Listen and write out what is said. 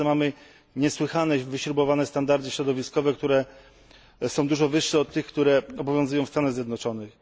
W Polsce mamy niesłychanie wyśrubowane standardy środowiskowe, które są dużo wyższe, niż te, które obowiązują w Stanach Zjednoczonych.